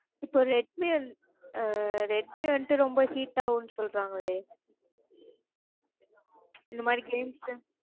இப்போ redmi ஆஹ் redmi வந்துட்டு ரொம்ப heat ஆகும்னு சொல்லறாங்களே? இந்த மாறி games